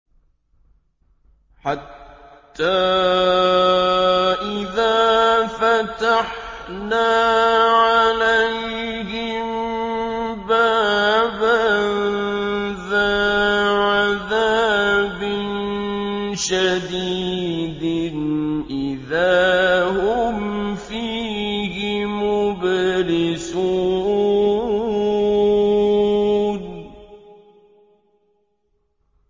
حَتَّىٰ إِذَا فَتَحْنَا عَلَيْهِم بَابًا ذَا عَذَابٍ شَدِيدٍ إِذَا هُمْ فِيهِ مُبْلِسُونَ